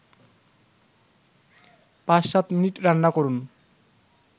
৫-৭ minute রান্নাকরুন